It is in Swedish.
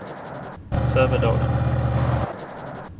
Sävedalen